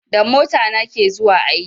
Da mota na ke zuwa aiki